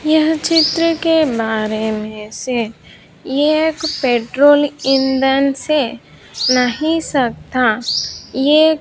यह चित्र के बारे मे से एक पेट्रोल ईंधन से नहीं सकता ये--